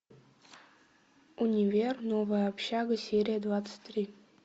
универ новая общага серия двадцать три